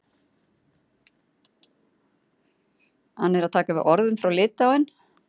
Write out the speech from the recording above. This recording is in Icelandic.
Hann er að taka við orðum frá Litáen.